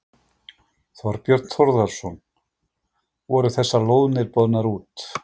Þorbjörn Þórðarson: Voru þessar lóðir boðnar út?